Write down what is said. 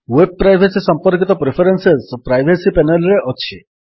web privacy ସମ୍ପର୍କିତ preferences privacy panel ରେ ଅଛି